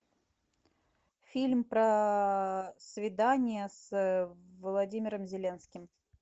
фильм про свидание с владимиром зеленским